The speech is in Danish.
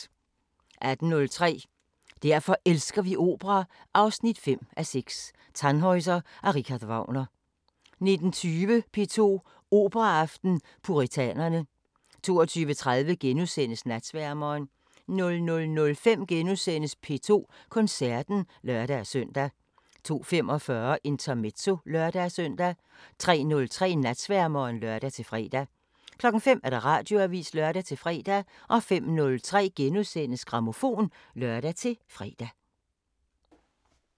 18:03: Derfor elsker vi opera 5:6 – Tannhäuser af Richard Wagner 19:20: P2 Operaaften: Puritanerne 22:30: Natsværmeren * 00:05: P2 Koncerten *(lør-søn) 02:45: Intermezzo (lør-søn) 03:03: Natsværmeren (lør-fre) 05:00: Radioavisen (lør-fre) 05:03: Grammofon *(lør-fre)